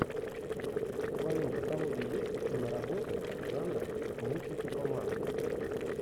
в твоем каталоге есть киноработа жанра мультики по манге